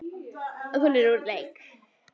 Að hún er úr leik.